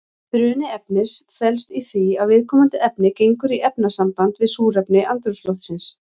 Bruni efnis felst í því að viðkomandi efni gengur í efnasamband við súrefni andrúmsloftsins.